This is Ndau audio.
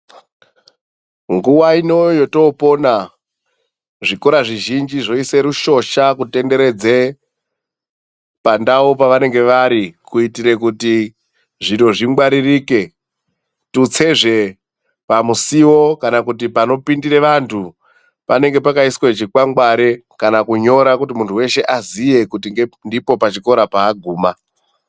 Nguwa ino yotopona, zvikora zvizhinji zvoise rushosha kutenderedze pandau pavanenge vari kuitire kuti zviro zvingwaririke, tutsezve pamusiwo kana kuti panopindire vantu, panange pakaiswa chikwangware kana kunyora kuti muntu weshe aziye kuti ndipo pachikora paaguma.